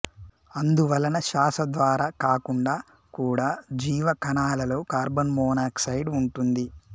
అందువలన శ్వాస ద్వారా కాకుండా కుడా జీవ కణాలలో కార్బన్ మొనాక్సైడ్ ఉంటుంది